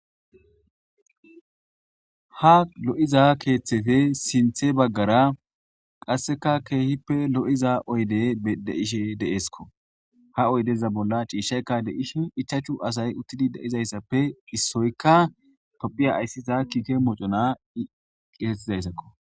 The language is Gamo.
Ha lo'iza keeththefe sinthe baggara qasseka keehippe lo'iza oyde deishe deeskko ha oydeza bolla ciishaykka deishi ichachu asay uttidi deizayssappe issoykka tophiya ayssiza kiike mocona i qisettizayssakko.